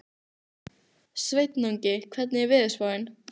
Sveinungi, hvernig er veðurspáin?